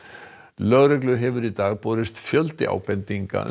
lögreglu hefur í dag borist fjöldi ábendinga um